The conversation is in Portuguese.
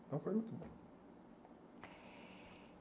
Então foi muito bom.